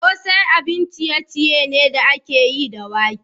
Kosai abun ciye-ciye ne da aka yi da wake.